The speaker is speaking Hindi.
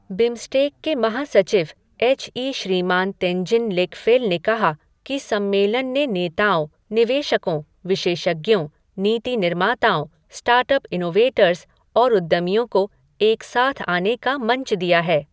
बिमस्टेक के महासचिव एच ई श्रीमान तेनजिन लेकफ़ेल ने कहा कि सम्मेलन ने नेताओं, निवेशकों, विशेषज्ञों, नीति निर्माताओं, स्टार्टअप इनोवेटर्स और उद्यमियों को एक साथ आने का मंच दिया है।